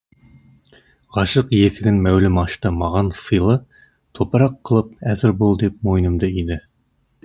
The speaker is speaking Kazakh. ғашық есігін мәулім ашты маған сыйлы топырақ қылып әзір бол деп мойнымды иді